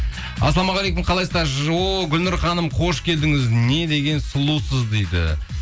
ассалаумағалейкум қалайсыздар гүлнұр ханым қош келдіңіз не деген сұлусыз дейді